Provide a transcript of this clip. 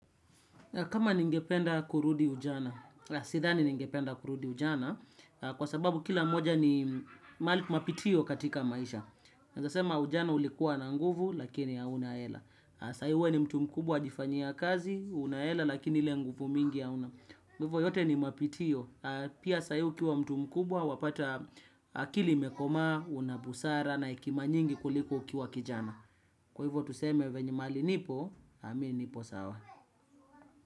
Kama ningependa kurudi ujana, sidhani ningependa kurudi ujana, kwa sababu kila moja ni mapitio katika maisha. Naeza sema ujana ulikuwa na nguvu, lakini hauna hela. Sai wewe ni mtu mkubwa wajifanyia kazi, una hela, lakini ile nguvu mingi hauna. Hivyo yote ni mapitio, pia sai ukiwa mtu mkubwa, wapata akili imekomaa, unabusara, na hekima nyingi kuliko ukiwa kijana. Kwa hivyo tuseme venye mali nipo, mimi nipo sawa.